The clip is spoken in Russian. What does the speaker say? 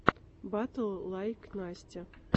батл лайк настя